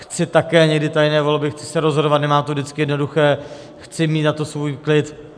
Chci také někdy tajné volby, chci se rozhodovat, nemám to vždycky jednoduché, chci mít na to svůj klid.